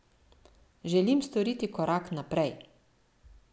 Želim storiti korak naprej.